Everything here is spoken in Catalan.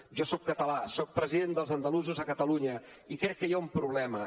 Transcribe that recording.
jo soc català soc president dels andalusos a catalunya i crec que hi ha un problema